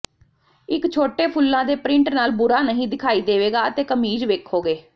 ਇੱਕ ਛੋਟੇ ਫੁੱਲਾਂ ਦੇ ਪ੍ਰਿੰਟ ਨਾਲ ਬੁਰਾ ਨਹੀਂ ਦਿਖਾਈ ਦੇਵੇਗਾ ਅਤੇ ਕਮੀਜ਼ ਵੇਖੋਗੇ